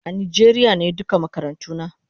A Nijeria nayi duka makarantuna